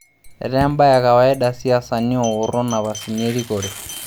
Etaa embae ekawaida siasani ooworo napasini erikore.